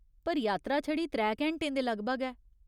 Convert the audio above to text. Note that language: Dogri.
पर, यात्रा छड़ी त्रै घैंटें दे लगभग ऐ।